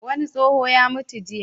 Wani tsoho ya mutu jiya.